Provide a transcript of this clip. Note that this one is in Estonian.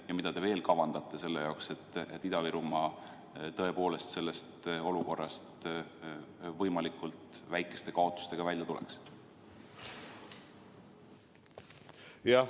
Ja mida te veel kavandate, et Ida-Virumaa sellest olukorrast võimalikult väikeste kaotustega välja tuleks?